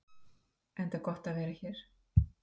Enda er gott að vera hér.